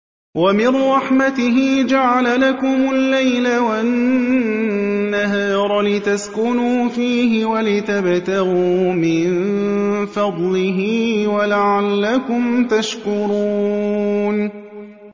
وَمِن رَّحْمَتِهِ جَعَلَ لَكُمُ اللَّيْلَ وَالنَّهَارَ لِتَسْكُنُوا فِيهِ وَلِتَبْتَغُوا مِن فَضْلِهِ وَلَعَلَّكُمْ تَشْكُرُونَ